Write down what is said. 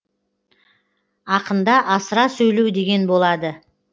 ақында асыра сөйлеу деген болады